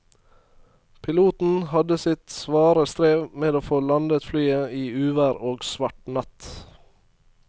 Piloten hadde sitt svare strev med å få landet flyet i uvær og svart natt.